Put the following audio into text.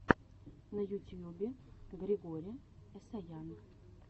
на ютьюбе григори эсаян